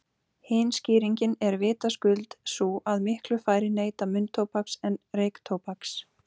Hin skýringin er vitaskuld sú að miklu færri neyta munntóbaks en reyktóbaks.